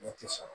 Ne tɛ sɔn